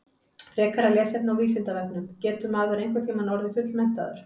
Frekara lesefni á Vísindavefnum Getur maður einhvern tímann orðið fullmenntaður?